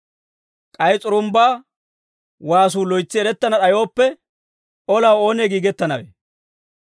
K'ay s'urumbbaa waasuu loytsi erettana d'ayooppe, olaw oonee giigettanawee?